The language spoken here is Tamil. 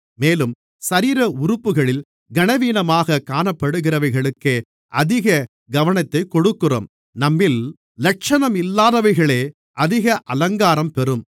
மேலும் சரீர உறுப்புகளில் கனவீனமாகக் காணப்படுகிறவைகளுக்கே அதிக கனத்தைக் கொடுக்கிறோம் நம்மில் இலட்சணமில்லாதவைகளே அதிக அலங்காரம் பெறும்